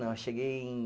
Não, eu cheguei em